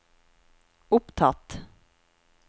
opptatt